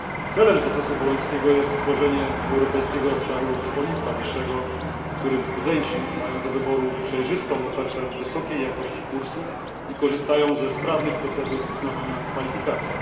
Celem procesu bolońskiego jest stworzenie europejskiego obszaru szkolnictwa wyższego, w którym studenci mają do wyboru przejrzystą ofertę wysokiej jakości kursów i korzystają ze sprawnych procedur uznawania kwalifikacji.